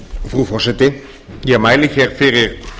frú forseti ég mæli hér fyrir